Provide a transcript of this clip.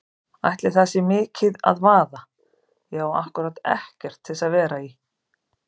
Ætli það sé mikið að vaða, ég á ákkúrat ekkert til að vera í.